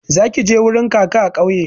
Zaki je wurin kaka a kauye